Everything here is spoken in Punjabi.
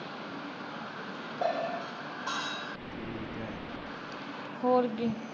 ਹੋਰ ਕੀ।